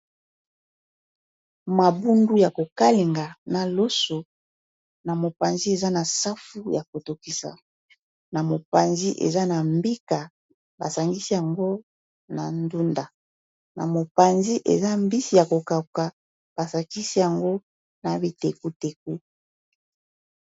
Mabundu yako kalinga na loso na mopanzi eza na safu ya ko tokisa na mopanzi eza na mbika basangisi yango na ndunda na mopanzi eza mbisi ya ko kauka ba sankisi yango na bitekuteku.